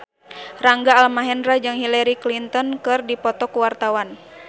Rangga Almahendra jeung Hillary Clinton keur dipoto ku wartawan